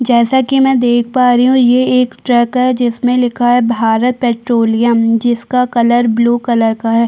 जैसा कि मैं देख पा रही हूँ यह एक ट्रक है जिसमें लिखा है भारत पेट्रोलियम जिसका कलर ब्लू कलर का हैं।